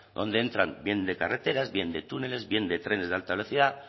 donde entran bien de carreteras bien de túneles bien de trenes de alta velocidad